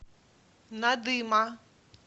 надыма